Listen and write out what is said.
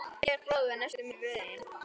Georg bróðir var næstur mér í röðinni.